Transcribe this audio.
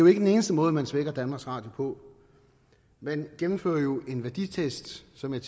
ikke den eneste måde man svækker danmarks radio på man gennemfører jo en værditest som jeg